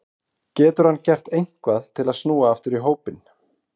Getur hann gert eitthvað til að snúa aftur í hópinn?